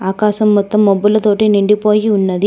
ఆకాశం మొత్తం మబ్బుల తోటి నిండిపోయి ఉన్నది.